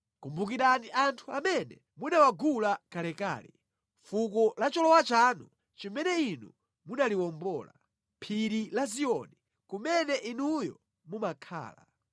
Kumbukirani anthu amene munawagula kalekale, fuko la cholowa chanu, limene Inu munaliwombola, phiri la Ziyoni, kumene inuyo mumakhala.